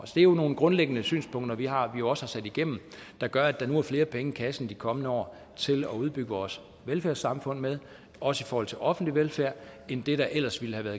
det er jo nogle grundlæggende synspunkter vi har vi også har sat igennem det gør at der nu er flere penge i kassen i de kommende år til at udbygge vores velfærdssamfund med også i forhold til offentlig velfærd end der ellers ville have